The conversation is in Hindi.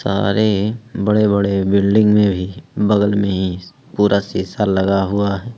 सारे बड़े बड़े बिल्डिंग में भी बगल में ही पूरा शीशा लगा हुआ है।